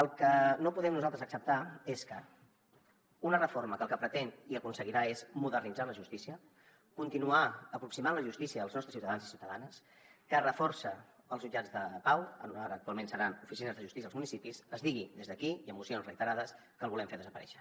el que no podem nosaltres acceptar és que amb una reforma que el que pretén i aconseguirà és modernitzar la justícia continuar aproximant la justícia als nostres ciutadans i ciutadanes que reforça els jutjats de pau ara actualment seran oficines de justícia als municipis es digui des d’aquí i amb mocions reiterades que el volem fer desaparèixer